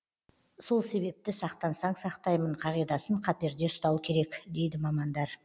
сол себепті сақтансаң сақтаймын қағидасын қаперде ұстау керек дейді мамандар